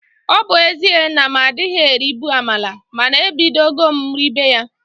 Ọ bu ezie na m adịghị eribu amala mana ebidogo m ribe ya